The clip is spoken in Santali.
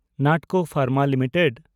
Natco pharma limited